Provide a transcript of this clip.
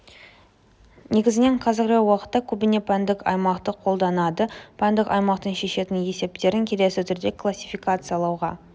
негізінен қазіргі уақытта көбіне пәндік аймақты қолданады пәндік аймақтың шешетін есептерін келесі түрде классификациялауға